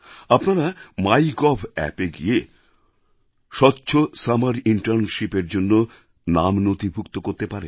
আপনারা মাইগভ অ্যাপএ গিয়ে স্বচ্ছ সামার ইন্টার্নশিপএর জন্য নাম নথিভুক্ত করতে পারেন